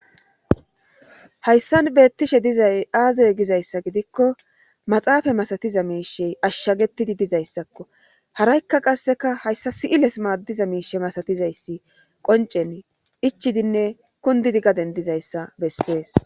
Hayssan beettishe dizay aazey gizayssa gidikko maxaafa masatiza miishe ashshagettidi dizayssakko haraykka qasseka hayssa si'iles maaddiza miishe masatizayssi qoncen ichidinne kundidi gadendizayssa bessees